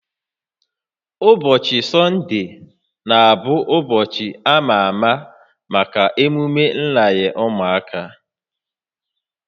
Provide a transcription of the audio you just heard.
Ụbọchị Sọnde na-abụ ụbọchị a ma ama maka emume nranye ụmụaka